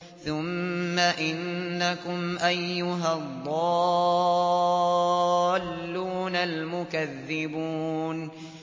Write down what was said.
ثُمَّ إِنَّكُمْ أَيُّهَا الضَّالُّونَ الْمُكَذِّبُونَ